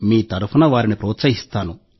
మీ తరఫున వారిని ప్రోత్సహిస్తాను